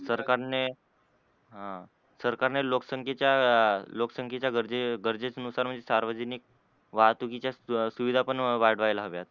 सरकारने ह सरकारने लोकसंखेच्या लोकसंखेच्या गरजे गरजेनुसार म्हणजे सार्वजनिक वाहतुकीच्या सुविधा पण वाढवायला हव्यात.